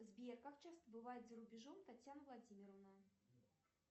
сбер как часто бывает за рубежом татьяна владимировна